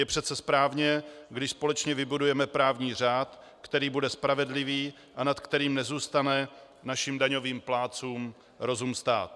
Je přece správné, když společně vybudujeme právní řád, který bude spravedlivý a nad kterým nezůstane našim daňovým plátcům rozum stát.